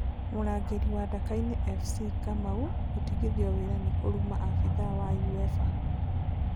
Mũrangĩri wa Ndakaine Fc Kamau gũtigithio wĩra nĩ kũruma abidhaa wa Uefa